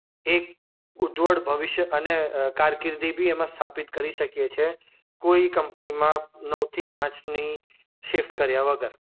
એક ઉજ્વળ ભવિષ્ય એન અ કારકિર્દી બી એમાં સ્થાપિત કરી શકીએ છે. કોઈ કંપનીમાં નવથી પાંચની શિફ્ટ કર્યા વગર.